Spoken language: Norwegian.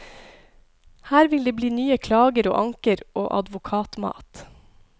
Her vil det bli nye klager og anker og advokatmat.